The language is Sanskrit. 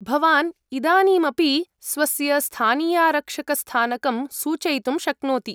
भवान् इदानीमपि स्वस्य स्थानीयारक्षकस्थानकं सूचयितुं शक्नोति।